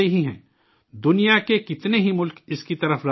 دنیا کے کتنے ہی ملک، اس کی طرف راغب ہیں